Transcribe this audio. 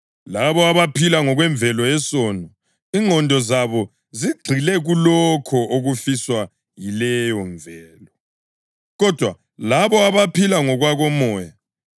Labo abaphila ngokwemvelo yesono ingqondo zabo zigxile kulokho okufiswa yileyomvelo, kodwa labo abaphila ngokwakoMoya ingqondo zabo zigxile kulokho okufiswa nguMoya.